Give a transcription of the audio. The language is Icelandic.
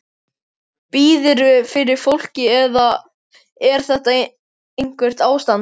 Biðurðu fyrir fólki eða er þetta eitthvert ástand?